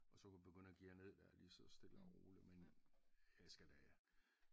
Og så kunne begynde at geare ned dér lige så stille og roligt men jeg skal da